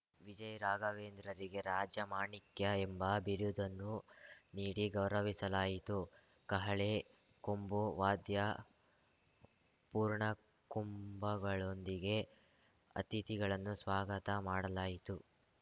ವಿಜಯ ರಾಘವೇಂದ್ರರಿಗೆ ರಾಜ ಮಾಣಿಕ್ಯ ಎಂಬ ಬಿರುದನ್ನು ನೀಡಿ ಗೌರವಿಸಲಾಯಿತು ಕಹಳೆ ಕೊಂಬು ವಾದ್ಯ ಪೂರ್ಣಕುಂಭಗಳೊಂದಿಗೆ ಅತಿಥಿಗಳನ್ನು ಸ್ವಾಗತ ಮಾಡಲಾಯಿತು